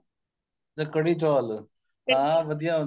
ਕੜੀ ਚੋਲ ਹਾਂ ਹਾਂ ਵਧੀਆ